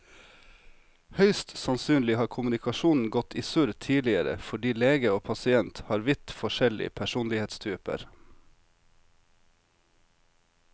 Høyst sannsynlig har kommunikasjonen gått i surr tidligere fordi lege og pasient har vidt forskjellig personlighetstyper.